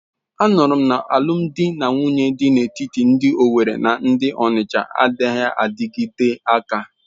Anuru m na alụm di na nwunye dị n'etiti ndị Owerri na ndị Onitsha anaghị adịte aka.